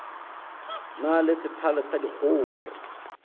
na le sethale sa dikgogo